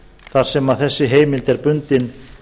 þar sem þessi heimild er bundin